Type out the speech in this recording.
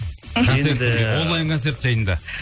онлайн концерт жайында